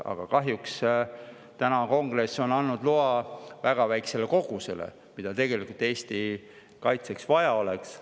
Aga kahjuks on Kongress andnud loa väga väikesele kogusele, mida tegelikult Eesti kaitseks vaja oleks.